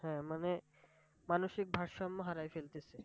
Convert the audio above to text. হ্যাঁ মানে মানুষিক ভারসাম্য হারায় ফেলতেছে।